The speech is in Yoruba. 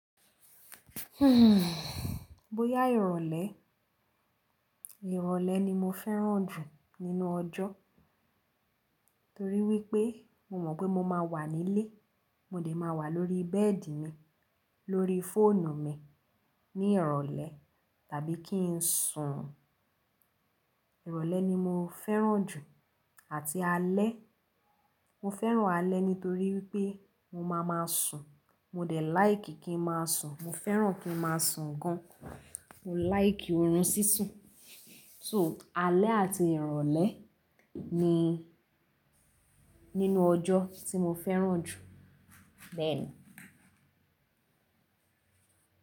Bóyá ìrọ̀lẹ́, ìrọ̀lẹ́ ni mo fẹ́ràn jù nínú ọjọ́ torí wípé mo mọ̀ pé mo máa wà nílé, mo dẹ̀ máa wà lórí bẹ́ẹ̀dì mi, lórí fóònù mi ní ìrọ̀lẹ́ tàbí kí n sùn. Ìrọ̀lẹ́ ni mo fẹ́ràn jù àti alẹ́. Mo fẹ́ràn alẹ́ nítorí wípé mo máa ma sùn, mo dẹ̀ like kí n má a sùn, mo fẹ́ràn kí n má a sùn gan. Mo like orun sísun. So alẹ́ àti ìrọ̀lẹ́ ni nínú ọjọ́ tí mo fẹ́ràn jù. Bẹ́ẹ̀ ni.